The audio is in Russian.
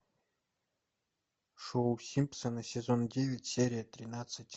шоу симпсоны сезон девять серия тринадцать